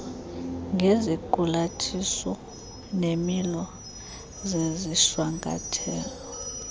ngeziqulatho neemilo zezishwankathelo